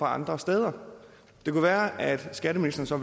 andre steder det kunne være at skatteministeren så